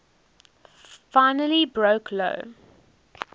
finally broke lou